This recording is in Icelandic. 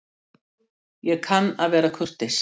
Ég kann að vera kurteis.